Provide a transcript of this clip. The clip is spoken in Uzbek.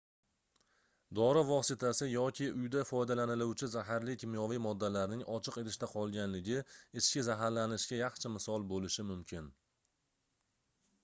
dori vositasi yoki uyda foydalaniluvchi zaharli kimyoviy moddalarning ochiq idishda qolganligi ichki zaharlanishga yaxshi misol boʻlishi mumkin